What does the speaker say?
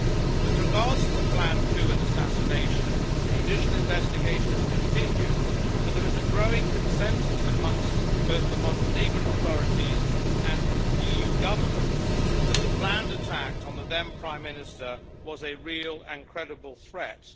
With regard to the planned coup and assassination, judicial investigations continue, but there is a growing consensus amongst both the Montenegrin authorities and EU governments that the planned attack on the then prime minister was a real and credible threat.